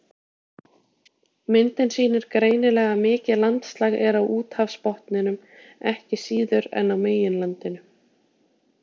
Myndin sýnir greinilega að mikið landslag er á úthafsbotninum ekki síður en á meginlandinu.